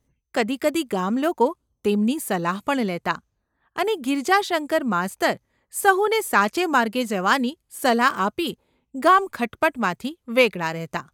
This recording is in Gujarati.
કદી કદી ગામલોકો તેમની સલાહ પણ લેતા અને ગિરજાશંકર માસ્તર સહુને સાચે માર્ગે જવાની સલાહ આપી ગામ ખટપટમાંથી વેગળા રહેતા.